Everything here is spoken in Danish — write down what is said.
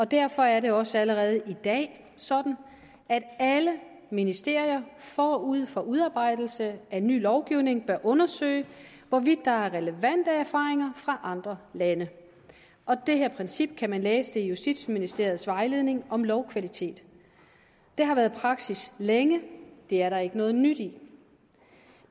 derfor er det også allerede i dag sådan at alle ministerier forud for udarbejdelse af ny lovgivning bør undersøge hvorvidt der er relevante erfaringer fra andre lande det princip kan man læse i justitsministeriets vejledning om lovkvalitet det har været praksis længe det er der ikke noget nyt i